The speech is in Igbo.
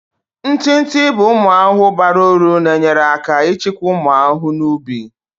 Ntị ntị bụ ụmụ ahụhụ bara uru na-enyere aka ịchịkwa ụmụ ahụhụ na ubi.